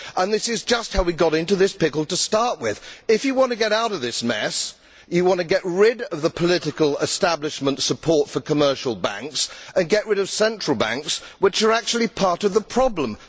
A. This is just how we got into this pickle to start with. If you want to get out of this mess, you need to get rid of the political establishment support for commercial banks and get rid of central banks, which are actually part of the problem, not the solution.